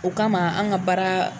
O kama anw ka baara